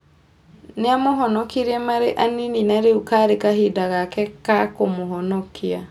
Niamũhonokirie marĩ anini na rĩu karĩ kahinda gake ka kũmũhonokia.